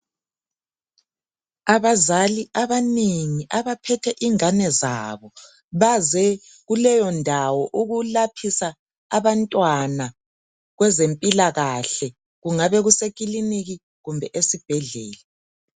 Abazali abanengi abaphethe ingane zabo baze kuleyo ndawo ukulaphisa abantwana kwezempilakahle kungabe kusele ikilinika kumbe esibhedlela.